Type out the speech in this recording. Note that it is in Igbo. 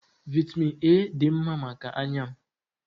Vaịtamịn A dị mma maka anya m.